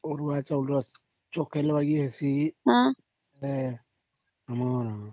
ହମ୍